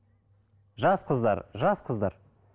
жас қыздар жас қыздар